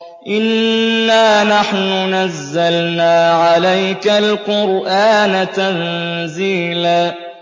إِنَّا نَحْنُ نَزَّلْنَا عَلَيْكَ الْقُرْآنَ تَنزِيلًا